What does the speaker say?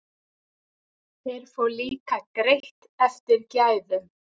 Þeir fá líka greitt eftir gæðum.